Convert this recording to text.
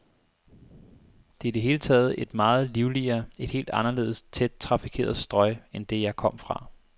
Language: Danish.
Det er i det hele taget et meget livligere, et helt anderledes tæt trafikeret strøg end det, jeg kom fra.